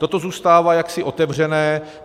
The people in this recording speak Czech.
Toto zůstává jaksi otevřené.